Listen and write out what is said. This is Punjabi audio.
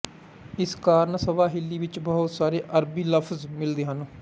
ਇਸ ਕਾਰਨ ਸਵਾਹਿਲੀ ਵਿੱਚ ਬਹੁਤ ਸਾਰੇ ਅਰਬੀ ਲਫਜ਼ ਮਿਲਦੇ ਹਨ